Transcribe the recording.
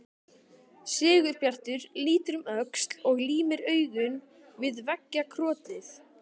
Sigurbjartur lítur um öxl og límir augun við veggjakrotið.